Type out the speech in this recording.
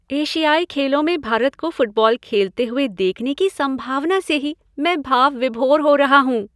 एशियाई खेलों में भारत को फुटबॉल खेलते हुए देखने की संभावना से ही मैं भाव विभोर हो रहा हूँ!